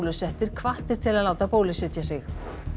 óbólusettir hvattir til að láta bólusetja sig